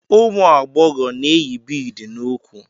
Ụmụ agbọghọ na-eyi biidi n'úkwù.